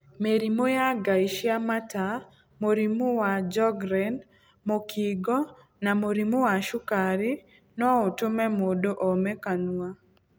Mĩrimũ ya ngaĩ cia mata, mũrimũ wa Sjogren, mũkingo na mũrimũ wa cukari no ũtũme mũndũ ome kanua.